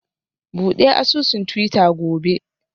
Bude asusun twitter gobe